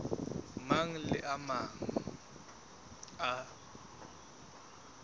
mang le a mang a